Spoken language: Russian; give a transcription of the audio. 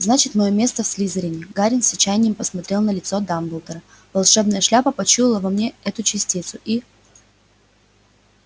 значит моё место в слизерине гарри с отчаянием посмотрел в лицо дамблдора волшебная шляпа почуяла во мне эту частицу и